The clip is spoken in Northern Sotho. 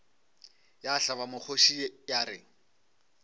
ya hlaba mokgoši ya re